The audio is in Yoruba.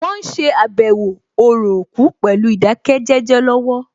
Wọ́n ṣe àbẹ̀wò orò òkú pẹ̀lú ìdákẹ́jẹ́jẹ́ lọ́wọ́